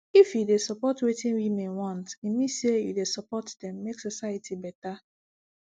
if you dey respect wetin women want e mean say u dey support dem make society beta